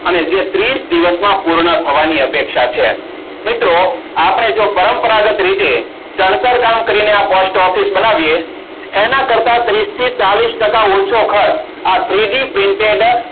અને તે ત્રીશ ડીવોશમાં પૂર્ણ થવાની અપેક્ષા છે મિત્રો આપણે જો પરંપરાગત રીતે ચણતર કામ કરીને Post Office બનાવીયે એના કરતા ત્રિશથી ચાલીશ ટાકા ઓછો ખર્ચ આ three D printable